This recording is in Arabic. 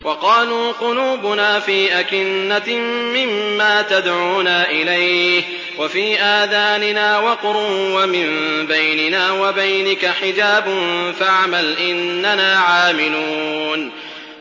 وَقَالُوا قُلُوبُنَا فِي أَكِنَّةٍ مِّمَّا تَدْعُونَا إِلَيْهِ وَفِي آذَانِنَا وَقْرٌ وَمِن بَيْنِنَا وَبَيْنِكَ حِجَابٌ فَاعْمَلْ إِنَّنَا عَامِلُونَ